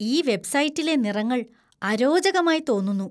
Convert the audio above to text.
ഈ വെബ്സൈറ്റിലെ നിറങ്ങൾ അരോചകമായി തോന്നുന്നു.